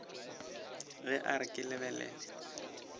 ge a re ke lebelela